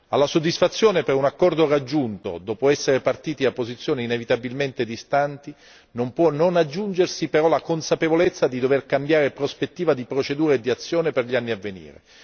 Alla soddisfazione per un accordo raggiunto dopo essere partiti da posizioni inevitabilmente distanti, non può non aggiungersi però la consapevolezza di dover cambiare prospettiva di procedura e di azione per gli anni a venire.